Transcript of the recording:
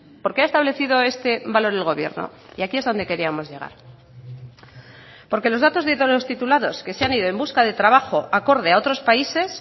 por qué ha establecido este valor el gobierno y aquí es dónde queríamos llegar porque los datos de todos los titulados que se han ido en busca de trabajo acorde a otros países